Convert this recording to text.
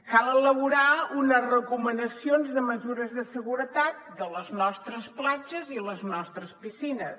cal elaborar unes recomanacions de mesures de seguretat de les nostres platges i les nostres piscines